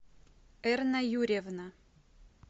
эрна юрьевна